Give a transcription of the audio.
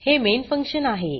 हे main function आहे